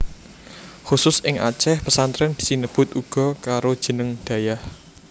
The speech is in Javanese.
Khusus ing Aceh pesantren sinebut uga karo jeneng dayah